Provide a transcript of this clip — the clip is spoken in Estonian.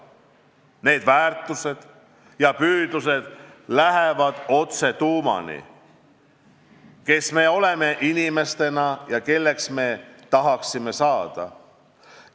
Need väärtused ja püüdlused lähevad otse tuumani, kes me oleme inimestena ja kelleks me tahaksime saada.